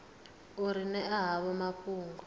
u ri ṅea havho mafhungo